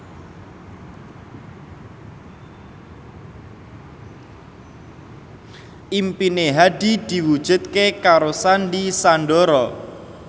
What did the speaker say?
impine Hadi diwujudke karo Sandy Sandoro